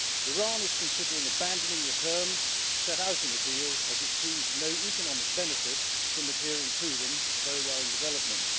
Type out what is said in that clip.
Iran is considering abandoning the terms set out in the deal, as it sees no economic benefit from adhering to them a very worrying development.